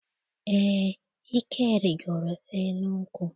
Eé, Ike rigoro elu nkwụ.